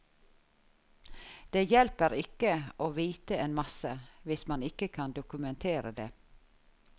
Det hjelper ikke å vite en masse, hvis man ikke kan dokumentere det.